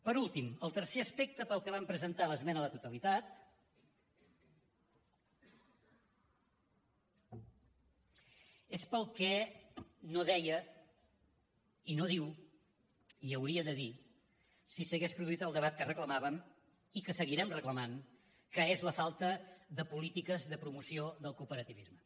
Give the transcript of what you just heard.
per últim el tercer aspecte pel qual vam presentar l’esmena a la totalitat és pel que no deia i no diu i ho hauria de dir si s’hagués produït el debat que reclamàvem i que seguirem reclamant que és la falta de polítiques de promoció del cooperativisme